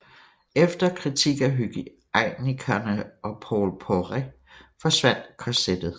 Efter kritik af hygiejnikerne og Paul Poiret forsvandt korsettet